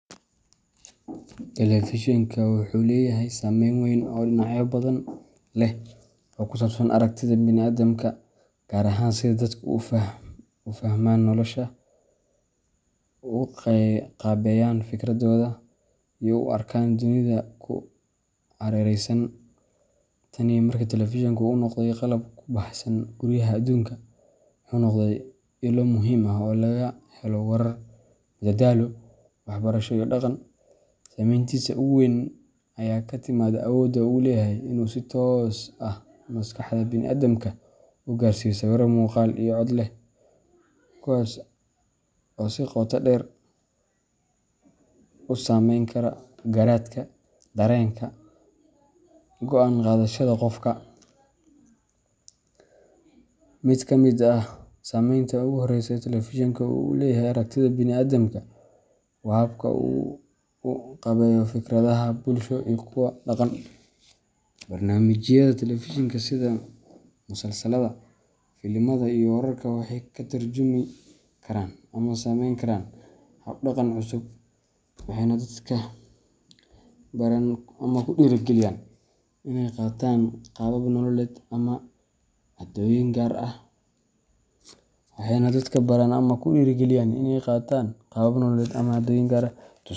Telefishenka wuxuu leeyahay saameyn weyn oo dhinacyo badan leh oo ku saabsan aragtida bini’aadamka, gaar ahaan sida dadku u fahmaan nolosha, u qaabeeyaan fikirradooda, iyo u arkaan dunida ku hareeraysan. Tan iyo markii telefishenka uu noqday qalab ku baahsan guryaha adduunka, wuxuu noqday ilo muhiim ah oo laga helo warar, madadaalo, waxbarasho iyo dhaqan. Saameyntiisa ugu weyn ayaa ka timaadda awoodda uu u leeyahay in uu si toos ah maskaxda bini’aadamka u gaarsiiyo sawirro muuqaal iyo cod leh, kuwaas oo si qoto dheer u saameyn kara garaadka, dareenka, iyo go’aan qaadashada qofka. Mid ka mid ah saameynta ugu horreysa ee telefishenka uu ku leeyahay aragtida bini’aadamka waa habka uu u qaabeeyo fikradaha bulsho iyo kuwa dhaqan. Barnaamijyada telefishenka sida musalsallada, filimada, iyo wararka waxay ka tarjumi karaan ama sameyn karaan hab-dhaqan cusub, waxayna dadka baraan ama ku dhiirrigeliyaan inay qaataan qaabab nololeed ama caadooyin gaar ah.